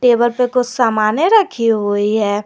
Table पे कुछ सामान्य रखी हुई है।